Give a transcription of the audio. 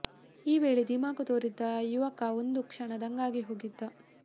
ಈ ವೇಳೆ ಧಿಮಾಕು ತೋರಿದ್ದ ಯುವಕ ಒಂದು ಕ್ಷಣ ದಂಗಾಗಿ ಹೋಗಿದ್ದ